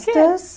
Por quê?